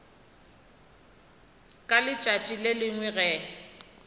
ka letšatši le lengwe ge